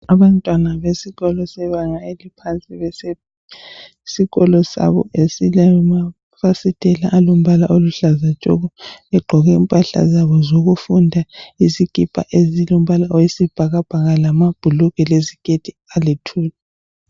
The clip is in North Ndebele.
Abantwana besikolo sebanga eliphansi besesikolo sabo esilamafasitela alombala oluhlaza tshoko bagqoke impahla zabo zokufunda izikipa ezilombala oyisibhakabhaka lamabhulugwe leziketi aluthuli.